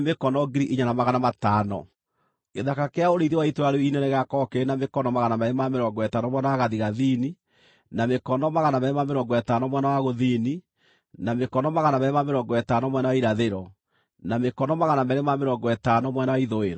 Gĩthaka kĩa ũrĩithio wa itũũra rĩu inene gĩgaakorwo kĩrĩ na mĩkono 250 mwena wa gathigathini, na mĩkono 250 mwena wa gũthini, na mĩkono 250 mwena wa irathĩro, na mĩkono 250 mwena wa ithũĩro.